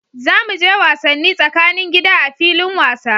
Za mu je wasanni tsakanin gida a filin wasa.